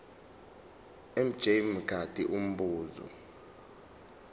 mj mngadi umbuzo